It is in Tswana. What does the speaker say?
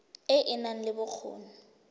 e e nang le bokgoni